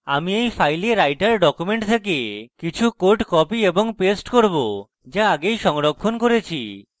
আমি এই files writer document থেকে কিছু code copy এবং paste করব যা আগেই সংরক্ষণ করেছি